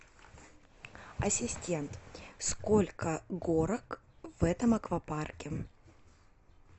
ассистент сколько горок в этом аквапарке